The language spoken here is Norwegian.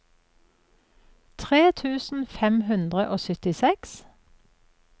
tre tusen fem hundre og syttiseks